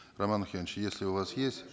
роман охенович если у вас есть